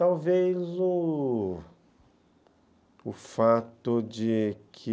Talvez o fato de que...